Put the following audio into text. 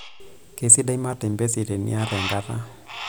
Keisidai matembesi tiniata enkata.